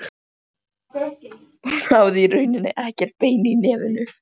Hún hafði í rauninni ekkert bein í nefinu.